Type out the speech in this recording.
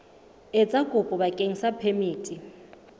etsa kopo bakeng sa phemiti